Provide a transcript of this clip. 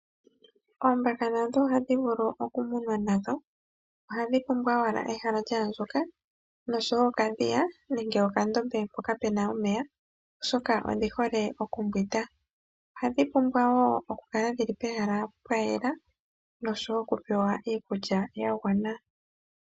Ooombaka nadho ohadhi vulu okumunwa nadho. Ohadhi pumbwa owala ehala lya andjuka noshowo okadhiya nenge okandombe mpoka pu na omeya, oshoka odhi hole okumbwinda. Ohadhi pumbwa wo okukala dhi li pehala pwa yela, noshowo okupewa iikulya ya gwana.